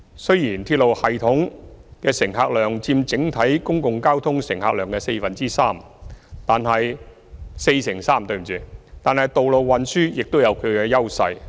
雖然鐵路系統的乘客量佔整體公共交通乘客量約四成三，但道路運輸亦有其優勢。